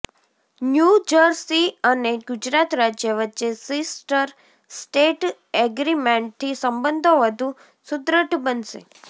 New Jersey અને ગુજરાત રાજ્ય વચ્ચે સિસ્ટર સ્ટેટ એગ્રીમેન્ટથી સંબંધો વધુ સુદ્રઢ બનશે